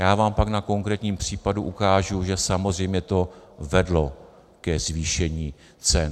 Já vám pak na konkrétním případu ukážu, že samozřejmě to vedlo ke zvýšení cen.